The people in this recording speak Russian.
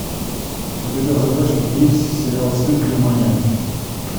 у тебя в загашнике есть сериал стыд германия